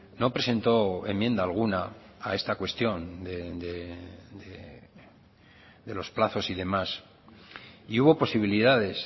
no presentó enmienda alguna a esta cuestión de los plazos y demás y hubo posibilidades